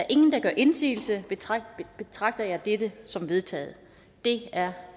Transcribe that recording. ingen gør indsigelse betragter betragter jeg dette som vedtaget det er